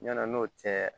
Ɲana n'o tɛ